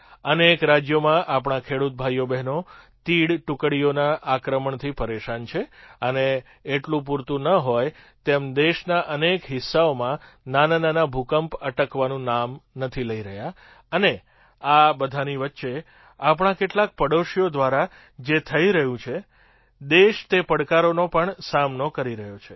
અનેક રાજ્યોમાં આપણા ખેડૂત ભાઈબહેનો તીડ ટુકડીઓના આક્રમણથી પરેશાન છે અને એટલું પૂરતું ન હોય તેમ દેશના અનેક હિસ્સાઓમાં નાનાનાના ભૂકંપ અટકવાનું નામ નથી લઈ રહ્યા અને આબધાંની વચ્ચે આપણા કેટલાક પડોશીઓ દ્વારા જે થઈ રહ્યું છે દેશ તે પડકારોનો પણ સામનો કરી રહ્યો છે